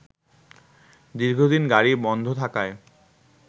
দীর্ঘদিন গাড়ি বন্ধ থাকায়